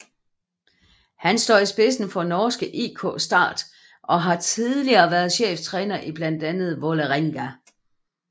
Han står i spidsen for norske IK Start og har tidligere været cheftræner i blandt andet Vålerenga